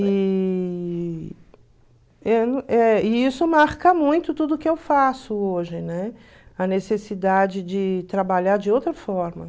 E e isso marca muito tudo que eu faço hoje, né, a necessidade de trabalhar de outra forma.